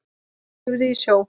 Lifði í sjó.